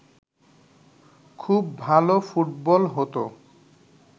খুব ভালো ফুটবল হতো